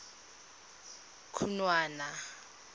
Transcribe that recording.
khunwana